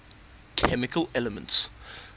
chemical elements